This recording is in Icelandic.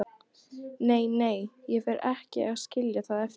Nei, nei, ég fer ekki að skilja það eftir.